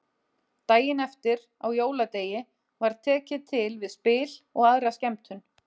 Daginn eftir, á jóladegi, var tekið til við spil og aðra skemmtun.